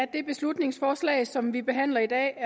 det beslutningsforslag som vi behandler i dag